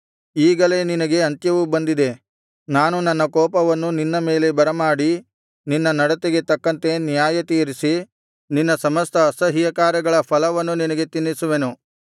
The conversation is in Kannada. ಈಗಲೇ ನಿನಗೆ ಅಂತ್ಯವು ಬಂದಿದೆ ನಾನು ನನ್ನ ಕೋಪವನ್ನು ನಿನ್ನ ಮೇಲೆ ಬರಮಾಡಿ ನಿನ್ನ ನಡತೆಗೆ ತಕ್ಕಂತೆ ನ್ಯಾಯತೀರಿಸಿ ನಿನ್ನ ಸಮಸ್ತ ಅಸಹ್ಯಕಾರ್ಯಗಳ ಫಲವನ್ನು ನಿನಗೆ ತಿನ್ನಿಸುವೆನು